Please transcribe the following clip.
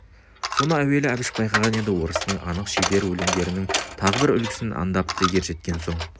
соны әуелі әбіш байқаған еді орыстың анық шебер өлеңдерінің тағы да бір үлгісін андапты ержеткен соң